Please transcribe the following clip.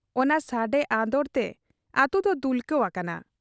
ᱚᱱᱟ ᱥᱟᱰᱮ ᱟᱸᱫᱚᱲᱛᱮ ᱟᱹᱛᱩᱫᱚ ᱫᱩᱞᱠᱟᱹᱣ ᱟᱠᱟᱱᱟ ᱾